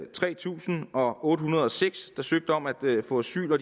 tre tusind otte hundrede og seks der søgte om at få asyl og